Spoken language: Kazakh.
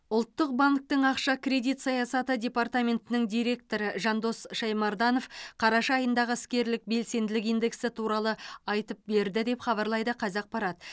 ұлттық банктің ақша кредит саясаты департаментінің директоры жандос шаймарданов қараша айындағы іскерлік белсенділік индексі туралы айтып берді деп хабарлайды қазақпарат